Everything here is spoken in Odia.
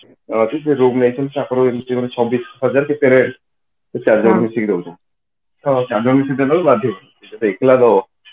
ସେ ରୁମ ନେଇଛନ୍ତି ଚବିଶ ହଜାର କେତେ ରେ ସେ ଚାରିଜଣ ମିଶିକି ରହୁଛନ୍ତି ତ ଚାରିଜଣ ଦବାକୁ ବାଧ୍ୟ ସେ ଯଦି ଏକେଲା ଦବ